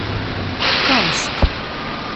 канск